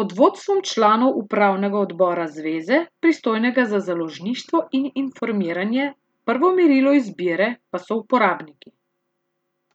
pod vodstvom članov upravnega odbora zveze, pristojnega za založništvo in informiranje, prvo merilo izbire pa so uporabniki.